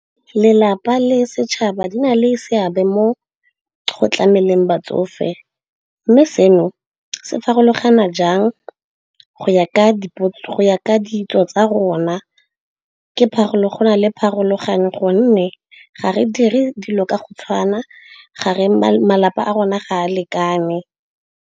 Lelapa le setšhaba di na le seabe mo go tlameleng batsofe, mme se no se farologana jang go ya ka ditso tsa rona. Go na le pharologano gonne ga re dire dilo ka go tshwana, malapa a rona ga a lekane.